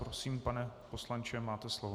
Prosím, pane poslanče, máte slovo.